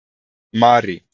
Marý